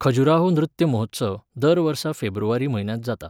खजुराहो नृत्य महोत्सव दर वर्सा फेब्रुवारी म्हयन्यांत जाता.